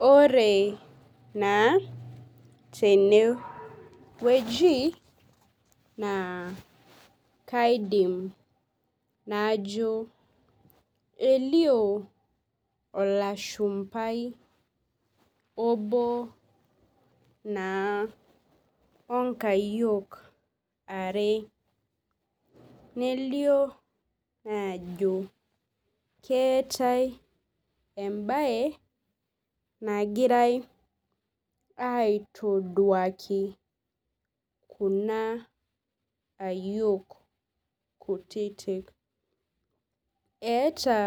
Ore na tenewueji naa kaidim najo elio olashumbai obo naa onkayiok are nelio ajo keetae emabe nagirai aitoduaki kuna ayiok kutitik eeta